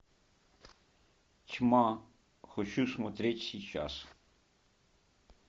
тьма хочу смотреть сейчас